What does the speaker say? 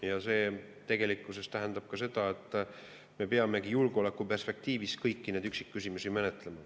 Ja see tegelikult tähendab ka seda, et me peame julgeolekuperspektiivist kõiki neid üksikküsimusi menetlema.